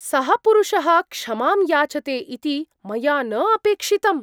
सः पुरुषः क्षमां याचते इति मया न अपेक्षितम्।